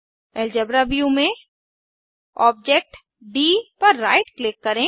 algebra view में object D पर right click करें